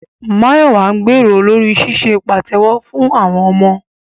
Máyọ̀wà ń gbèrò lórí ṣíṣe pàtẹ́wọ́ fún àwọn ọmọ